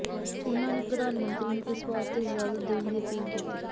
ਉਨ੍ਹਾਂ ਨੇ ਪ੍ਰਧਾਨ ਮੰਤਰੀ ਨੂੰ ਇਸ ਵਾਸਤੇ ਇਜਾਜ਼ਤ ਦੇਣ ਦੀ ਅਪੀਲ ਕੀਤੀ